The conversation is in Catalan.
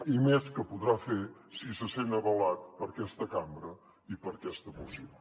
i més que podrà fer si se sent avalat per aquesta cambra i per aquesta moció